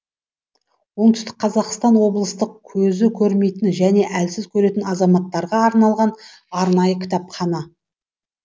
оңтүстік қазақстан облыстық көзі көрмейтін және әлсіз көретін азаматтарға арналған арнайы кітапхана